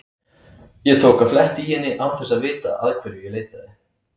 Ég tók að fletta í henni án þess að vita að hverju ég leitaði.